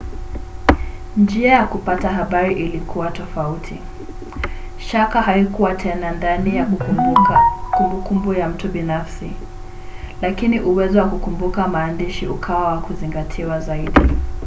njia ya kupata habari ilikuwa tofauti. shaka haikuwa tena ndani ya kumbukumbu ya mtu binafsi lakini uwezo wa kukumbuka maandishi ukawa wa kuzingatiwa zaidi